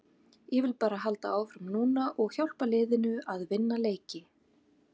Ég vil bara halda áfram núna og hjálpa liðinu að vinna leiki.